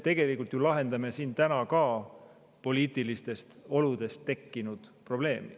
Tegelikult me lahendame siin täna ka poliitilistest oludest tekkinud probleemi.